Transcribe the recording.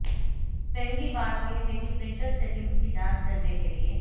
पहली बात यह है प्रिंटर सेटिंग्स की जाँच करने के लिए